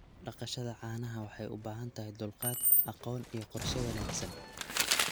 Dhaqashada caanaha waxay u baahan tahay dulqaad, aqoon, iyo qorshe wanaagsan.